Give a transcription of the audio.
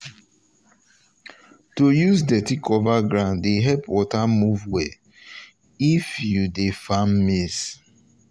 to um use dirty cover ground dey help water move well if you um if you um dey farm maize.